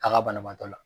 A ka banabaatɔ la